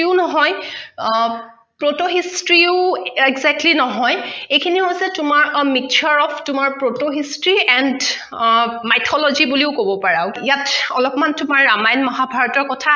ও নহয় proto history ও exactly নহয় এইখিনি হৈছে তোমাৰ mixture of তোমাৰ proto history and ah mythology বুলিও কব পাৰা ইয়াত অলপ মান তোমাৰ ৰামায়ন মহাভাৰতৰ কথা